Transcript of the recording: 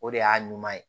O de y'a ɲuman ye